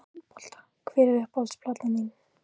Handbolta Hver er uppáhalds platan þín?